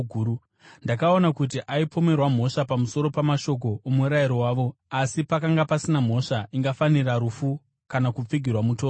Ndakaona kuti aipomerwa mhosva pamusoro pamashoko omurayiro wavo, asi pakanga pasina mhosva ingafanira rufu kana kupfigirwa mutorongo.